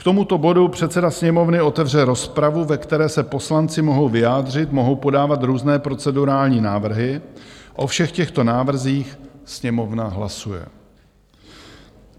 K tomuto bodu předseda Sněmovny otevře rozpravu, ve které se poslanci mohou vyjádřit, mohou podávat různé procedurální návrhy, o všech těchto návrzích Sněmovna hlasuje.